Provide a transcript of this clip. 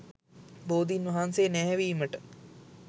බෝධීන් වහන්සේ නැහැවීමට